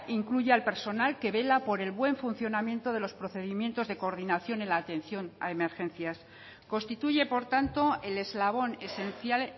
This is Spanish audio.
incluye al personal que vela por el buen funcionamiento de los procedimientos de coordinación en la atención a emergencias constituye por tanto el eslabón esencial